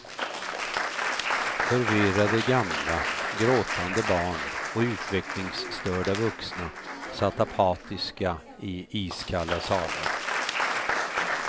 Förvirrade gamla, gråtande barn och utvecklingsstörda vuxna satt apatiska iiskalla salar.